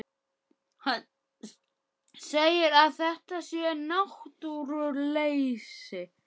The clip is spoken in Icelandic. Hann segir að þetta sé náttúruleysi.